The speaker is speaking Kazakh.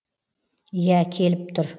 иә келіп тұр